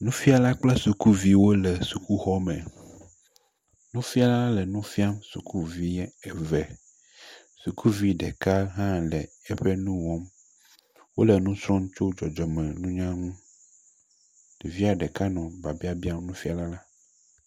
Nufiãla kple sukuviwo le xɔ me. Nufiãla le nu fiam sukuvi eve. Sukuvi ɖeka hã le eƒe nu wɔm. Wole nu srɔm tso dzɔdzɔmeŋunya ŋu. Ɖevia ɖeka nɔ biabia biam nufiãla la.